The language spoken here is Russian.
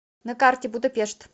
на карте будапешт